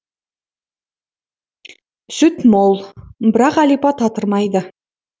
сүт мол бірақ әлипа татырмайды